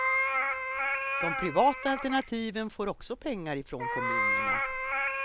De privata alternativen får också pengar från kommunerna.